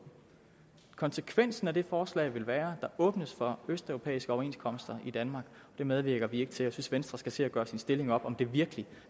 konsekvensen af det forslag vil være der åbnes for østeuropæiske overenskomster i danmark det medvirker vi ikke til at venstre skal se at gøre sin stilling op om det virkelig